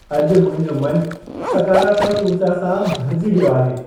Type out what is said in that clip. अॼु मुंहिंजो मन सकरात्मकु उर्जा सां भरिजी वियो आहे।